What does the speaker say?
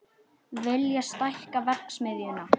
Vilja stækka verksmiðjuna